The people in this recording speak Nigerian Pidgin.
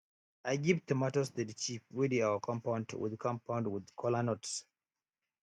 i give tomatoes to de chief wey dey our compound with compound with kola nuts